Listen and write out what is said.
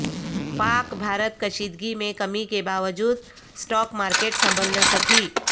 پاک بھارت کشیدگی میں کمی کے باوجود اسٹاک مارکیٹ سنبھل نہ سکی